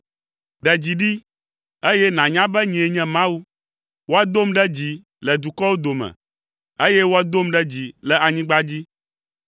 “Ɖe dzi ɖi, eye nànya be nyee nye Mawu. Woadom ɖe dzi le dukɔwo dome, eye woadom ɖe dzi le anyigba dzi.”